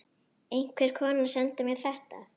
Einhver kona sendi mér þetta.